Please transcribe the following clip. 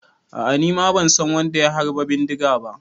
A'a, nima ban san wadda ya harba bindiga ba.